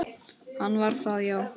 Hann var það, já.